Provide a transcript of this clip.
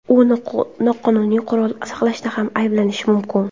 U noqonuniy qurol saqlashda ham ayblanishi mumkin.